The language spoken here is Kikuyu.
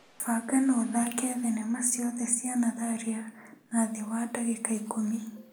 Banga na ũthake thinema ciothe cia natharia na thĩ wa ndagĩka ikũmi.